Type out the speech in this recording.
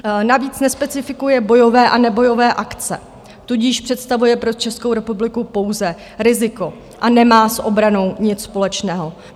Navíc nespecifikuje bojové a nebojové akce, tudíž představuje pro Českou republiku pouze riziko a nemá s obranou nic společného.